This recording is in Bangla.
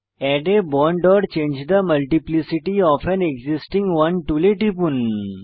add a bond or change the multiplicity of an existing one টুলে টিপুন